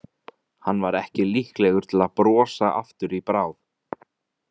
Hann var ekki líklegur til að brosa aftur í bráð.